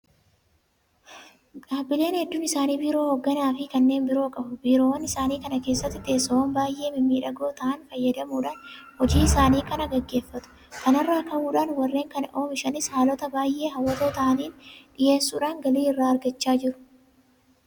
Dhaabbileen hedduun isaanii biiroo hoogganaafi kanneen biroo qabu. Biiroowwan isaanii kana keessatti teessoowwan baay'ee mimmiidhagoo ta'an fayyadamuudhaan hojii isaanii kana gaggeeffatu. Kana irraa ka'uudhaan warreen kana oomishanis haalota baay'ee hawwatoo ta'aniin dhiyeessuudhaan galii irraa argachaa jiru.